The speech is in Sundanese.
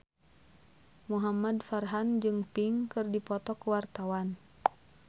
Muhamad Farhan jeung Pink keur dipoto ku wartawan